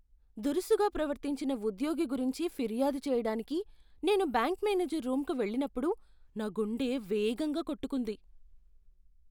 దురుసుగా ప్రవర్తించిన ఉద్యోగి గురించి ఫిర్యాదు చేయడానికి నేను బ్యాంక్ మేనేజర్ రూంకు వెళ్ళినప్పుడు నా గుండె వేగంగా కొట్టుకుంది.